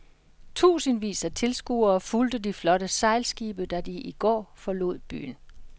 Tusindvis af tilskuere fulgte de flotte sejlskibe da de i går forlod byen.